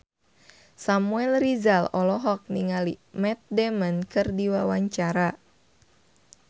Samuel Rizal olohok ningali Matt Damon keur diwawancara